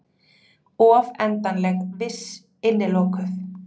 Of endanleg, viss, innilokuð.